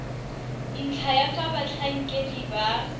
ntlha ya fa batlhankedi ba